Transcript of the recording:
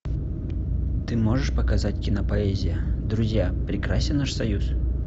ты можешь показать кинопоэзия друзья прекрасен наш союз